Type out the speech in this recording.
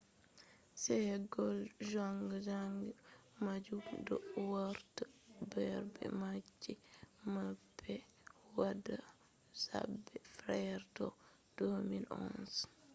sae'go zanga-zanga majum do warta habre gam rusbaare mabbe be wada zabe fere tun 2011